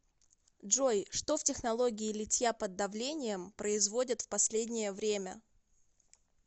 джой что в технологии литья под давлением производят в последнее время